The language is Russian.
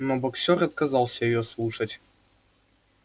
но боксёр отказался её слушать